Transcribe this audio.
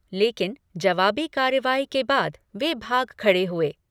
लेकिन, जवाबी कार्रवाई के बाद वे भाग खड़े हुए।